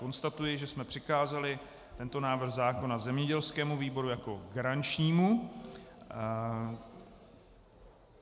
Konstatuji, že jsme přikázali tento návrh zákona zemědělskému výboru jako garančnímu.